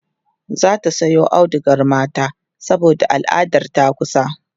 zata Sayo audugar mata saboda al'adar ta takusa